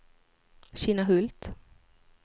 Kinnahult